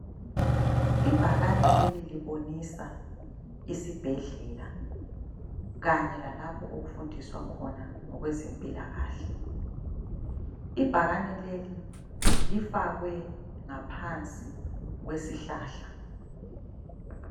I bhakane leli libonisa isibhedlela kanye lalapho okufundiswa khona ngokwezempilakahle, ibhakane leli lifakwe ngaphansi kwesihlahla.